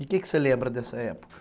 E o que você lembra dessa época?